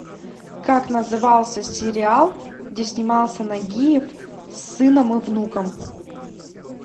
как назывался сериал где снимался нагиев с сыном и внуком